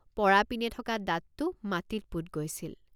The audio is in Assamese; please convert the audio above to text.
পৰা পিনে থকা দাঁতটো মাটিত পোত গৈছিল।